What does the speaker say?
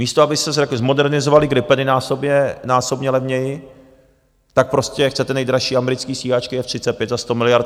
Místo abyste zmodernizovali gripeny násobně levněji, tak prostě chcete nejdražší americké stíhačky F-35 za 100 miliard.